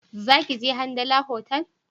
Za ki je Hamdala otal?